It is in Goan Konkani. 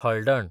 हळडण